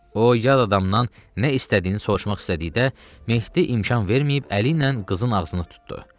O, yad adamdan nə istədiyini soruşmaq istədikdə, Mehdi imkan verməyib əli ilə qızın ağzını tutdu.